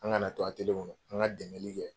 An ŋana to kɔnɔ, an ŋa dɛmɛli kɛ